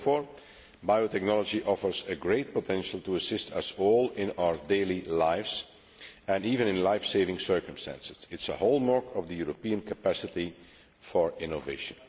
Therefore, biotechnology offers a great potential to assist us all in our daily lives and in life saving circumstances. It is a hallmark of the European capacity for innovation.